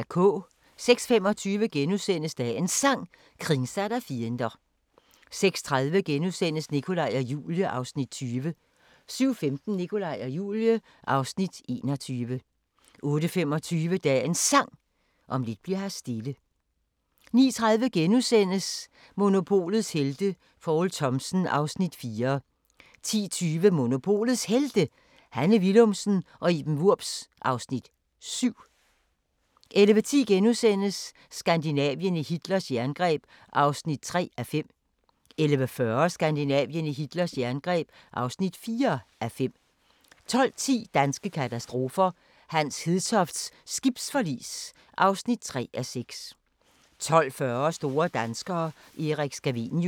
06:25: Dagens Sang: Kringsatt av fiender * 06:30: Nikolaj og Julie (Afs. 20)* 07:15: Nikolaj og Julie (Afs. 21) 08:25: Dagens Sang: Om lidt bli'r her stille 09:30: Monopolets helte - Poul Thomsen (Afs. 4)* 10:20: Monopolets Helte - Hanne Willumsen og Iben Wurbs (Afs. 7) 11:10: Skandinavien i Hitlers jerngreb (3:5)* 11:40: Skandinavien i Hitlers jerngreb (4:5) 12:10: Danske katastrofer – Hans Hedtofts skibsforlis (3:6) 12:40: Store danskere – Erik Scavenius